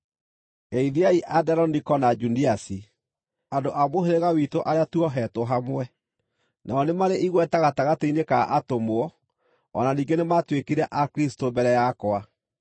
Geithiai Anderoniko na Juniasi, andũ a mũhĩrĩga witũ arĩa tuohetwo hamwe. Nao nĩ marĩ igweta gatagatĩ-inĩ ka atũmwo, o na ningĩ nĩmatuĩkire a Kristũ mbere yakwa.